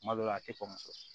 Kuma dɔw la a tɛ kɔn